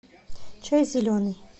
чай зеленый